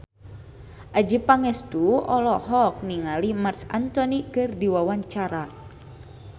Adjie Pangestu olohok ningali Marc Anthony keur diwawancara